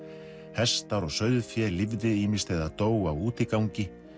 hestar og sauðfé lifði ýmist eða dó á útigangi